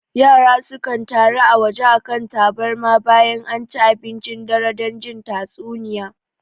Yara sukan taru a waje a kan tabarma bayan anci abincin dare don jin tatsuniya